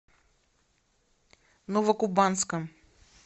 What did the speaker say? новокубанском